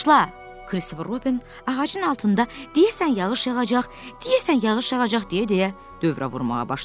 Kristofer Robin ağacın altında, deyəsən yağış yağacaq, deyəsən yağış yağacaq deyə-deyə dövrə vurmağa başladı.